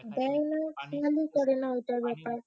দেয় না খেয়ালই করে না এটার ব্যাপারে।